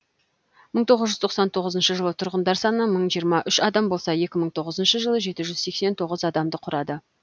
мың тоғыз жүз тоқсан тоғызыншы жылы тұрғындар саны мың жиырма үш адам болса екі мың тоғызыншы жылы жеті жүз сексен тоғызыншы адамды құрады